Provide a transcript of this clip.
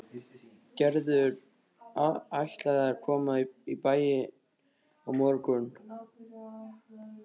Gerður ætlaði að koma í bæinn á morgun.